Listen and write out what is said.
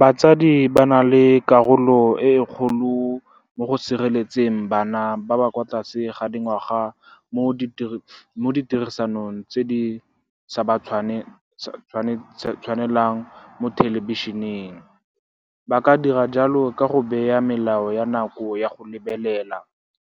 Batsadi ba na le karolo e e kgolo mo go sireletseng bana ba ba kwa tlase ga dingwaga mo ditirisanong tse di sa tshwanelang mo thelebišeneng. Ba ka dira jalo ka go bea melao ya nako ya go lebelela,